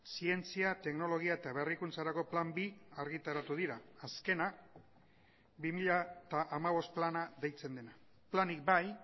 zientzia teknologia eta berrikuntzarako plan bi argitaratu dira azkena bi mila hamabost plana deitzen dena planik bai